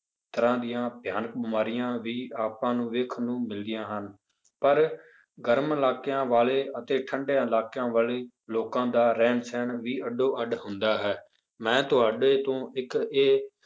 ਤਰ੍ਹਾਂ ਦੀਆਂ ਭਿਆਨਕ ਬਿਮਾਰੀਆਂ ਵੀ ਆਪਾਂ ਨੂੰ ਵੇਖਣ ਨੂੰ ਮਿਲਦੀਆਂ ਹਨ, ਪਰ ਗਰਮ ਇਲਾਕਿਆਂ ਵਾਲੇ ਅਤੇ ਠੰਢੇ ਇਲਾਕਿਆਂ ਵਾਲੇ ਲੋਕਾਂ ਦਾ ਰਹਿਣ ਸਹਿਣ ਵੀ ਅੱਡੋ ਅੱਡ ਹੁੰਦਾ ਹੈ, ਮੈਂ ਤੁਹਾਡੇ ਤੋਂ ਇੱਕ ਇਹ